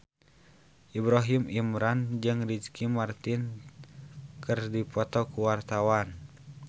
Ibrahim Imran jeung Ricky Martin keur dipoto ku wartawan